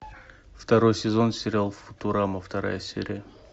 второй сезон сериал футурама вторая серия